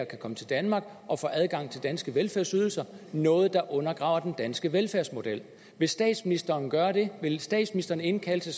kan komme til danmark og få adgang til danske velfærdsydelser noget der undergraver den danske velfærdsmodel vil statsministeren gøre det vil statsministeren indkalde til